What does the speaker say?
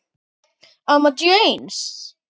Amma Jens.